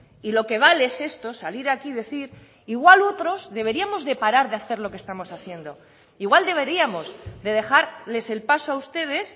y lo que vale es esto salir aquí y decir igual otros deberíamos de parar de hacer lo que estamos haciendo igual deberíamos de dejarles el paso a ustedes